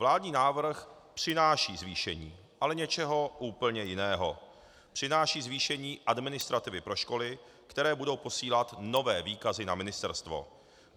Vládní návrh přináší zvýšení, ale něčeho úplně jiného - přináší zvýšení administrativy pro školy, které budou posílat nové výkazy na ministerstvo.